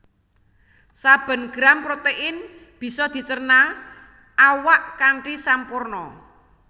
Saben gram protéin bisa dicerna awak kanthi sampurna